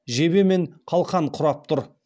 жебе мен қалқан құрап тұр